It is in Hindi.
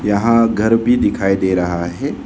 यहां घर भी दिखाई दे रहा है।